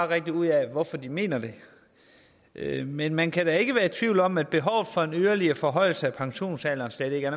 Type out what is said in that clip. rigtig ud af hvorfor den mener det men man kan da ikke være i tvivl om at behovet for en yderligere forhøjelse af pensionsalderen stadig er